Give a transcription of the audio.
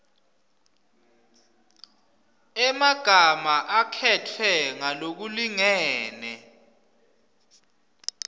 emagama akhetfwe ngalokulingene